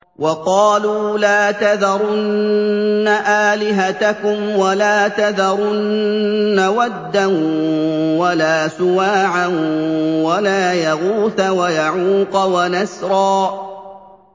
وَقَالُوا لَا تَذَرُنَّ آلِهَتَكُمْ وَلَا تَذَرُنَّ وَدًّا وَلَا سُوَاعًا وَلَا يَغُوثَ وَيَعُوقَ وَنَسْرًا